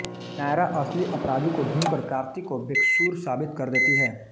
नायरा असली अपराधी को ढूंढकर कार्तिक को बेकसूर साबित कर देती है